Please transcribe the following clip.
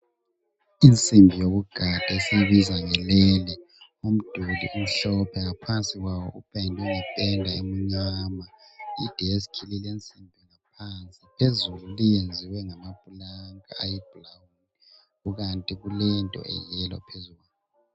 Umzimba womduli esiwubiza ngependa ufakwe wabamuhle kwafakwa leplanka kanye lephetshana eliyiyelo elihlobisayo.